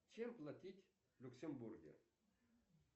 чем платить в люксембурге